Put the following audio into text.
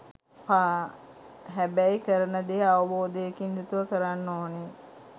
හැබැයි කරන දේ අවබෝධයකින් යුතුව කරන්න ඕනේ.